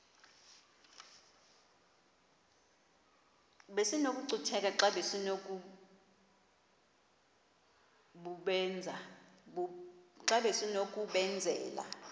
besinokucutheka xa besinokubenzela